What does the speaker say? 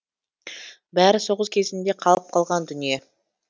бәрі соғыс кезінде қалып қалған дүние